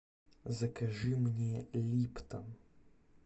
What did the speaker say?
закажи мне липтон